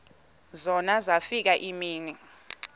zona zafika iimini